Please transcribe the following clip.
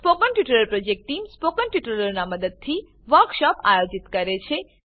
spoken tutorial project team spoken ટ્યુટોરીયલોનાં ઉપયોગથી વર્કશોપોનું આયોજન કરે છે